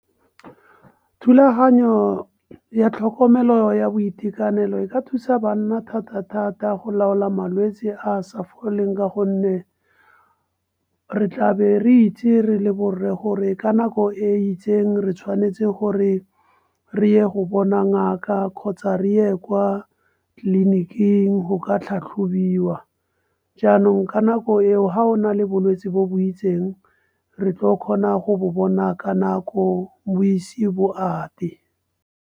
Thulaganyo ya tlhokomelo ya boitekanelo e ka thusa banna thata-thata, go laola malwetse a a sa foleng ka gonne re tlabe re itse re le borre gore ka nako e itseng re tshwanetse gore re ye go bona ngaka kgotsa re ye kwa tleliniking go ka tlhatlhobiwa. Jaanong ka nako eo ga o na le bolwetse bo bo itseng re tlo kgona go bo bona ka nako bo ise bo ate.